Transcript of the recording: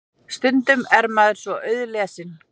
Stundum er maður svo auðlesinn.